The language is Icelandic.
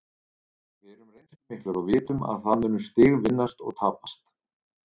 Við erum reynslumiklir og vitum að það munu stig vinnast og tapast.